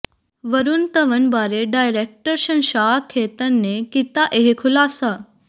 ਵਰੁਣ ਧਵਨ ਬਾਰੇ ਡਾਇਰੈਕਟਰ ਸ਼ਸ਼ਾਂਕ ਖੇਤਾਨ ਨੇ ਕੀਤਾ ਇਹ ਖੁਲਾਸਾ